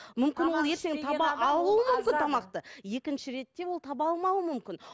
мүмкін ол ертең екінші ретте ол таба алмауы мүмкін